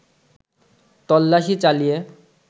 তল্লাশি চালিয়ে